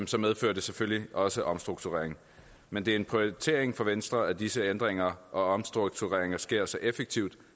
så medfører det selvfølgelig også en omstrukturering men det er en prioritering for venstre at disse ændringer og omstruktureringer sker så effektivt